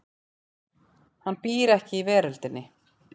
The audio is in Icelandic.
Hann býr ekki í veröldinni.